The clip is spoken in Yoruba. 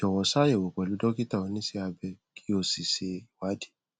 jọwọ ṣàyẹwò pẹlú dókítà oníṣẹ abẹ kí o sì ṣe ìwádìí